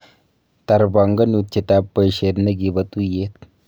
Tarbanganutietab boishet nekibo tuyet